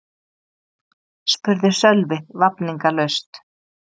spurði Sölvi vafningalaust.